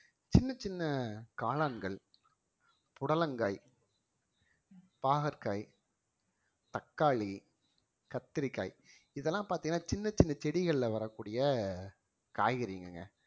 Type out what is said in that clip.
சின்னச் சின்ன காளான்கள் புடலங்காய் பாகற்காய் தக்காளி, கத்தரிக்காய் இதெல்லாம் பார்த்தீங்கன்னா சின்னச் சின்ன செடிகள்ல வரக்கூடிய காய்கறிங்கங்க